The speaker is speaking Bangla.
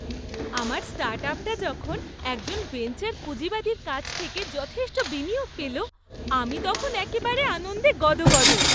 আমার স্টার্টআপটা যখন একজন ভেঞ্চার পুঁজিবাদীর কাছ থেকে যথেষ্ট বিনিয়োগ পেল, আমি তখন একেবারে আনন্দে গদগদ!